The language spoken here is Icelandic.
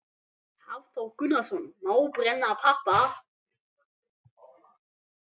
Hafþór Gunnarsson: Má brenna pappa?